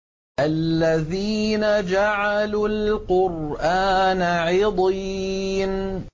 الَّذِينَ جَعَلُوا الْقُرْآنَ عِضِينَ